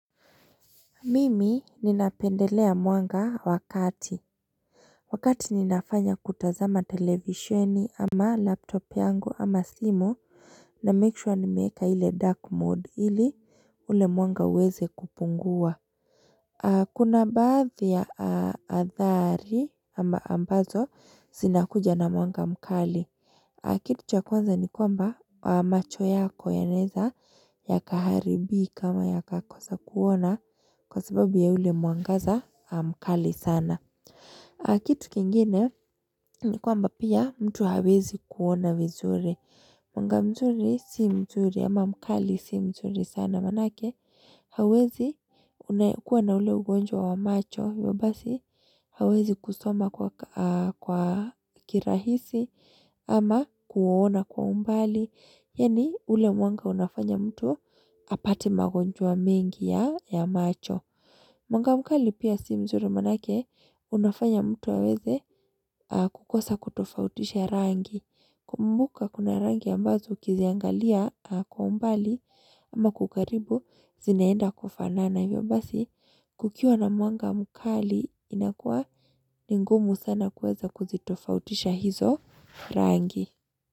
Mimi ninapendelea mwanga wa kati Wakati ninafanya kutazama televisheni ama laptop yangu ama simu namake sure nimeeka ile dark mode ili ule mwanga uweze kupungua Kuna baadhi ya aa athari ambazo zinakuja na mwanga mkali Kitu cha kwanza ni kwamba macho yako yanaeza yakaharibika ama yakakosa kuona kwa sababu ya ule mwangaza mkali sana. Kitu kingine ni kwamba pia mtu hawezi kuona vizuri. Mwanga mzuri si mzuri ama mkali si mzuri sana maanake. Hauwezi kuwa na ule ugonjwa wa macho hivyo basi Hauwezi kusoma kwa kirahisi Ama kuuona kwa umbali Yaani ule mwanga unafanya mtu Apati magonjwa mengi ya macho Mwanga mkali pia si mzuri maanake Unafanya mtu aweze kukosa kutofautisha rangi kumbuka kuna rangi ambazo ukiziangalia kwa umbali Ama kwa ukaribu zinaenda kufanana hivyo basi kukiwa na mwanga mkali inakua ni ngumu sana kuweza kuzitofautisha hizo rangi.